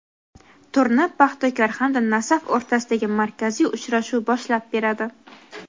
Turni "Paxtakor" hamda "Nasaf" o‘rtasidagi markaziy uchrashuv boshlab beradi.